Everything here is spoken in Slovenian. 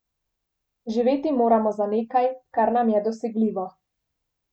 Živeti moramo za nekaj, kar nam je dosegljivo.